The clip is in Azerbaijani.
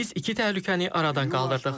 Biz iki təhlükəni arada qaldırdıq.